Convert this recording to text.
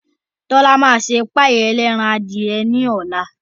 Tọ́lá máa ṣe páì ẹlẹ́ran adìye ní ọ̀la